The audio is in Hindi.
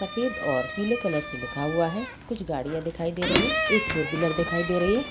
सफ़ेद और पीले कलर से लिखा हुआ है कुछ गाड़ियाँ दिखाई दे रही है एक फोर व्हीलर दिखाई दे रही है।